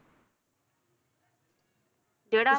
ਜਿਹੜਾ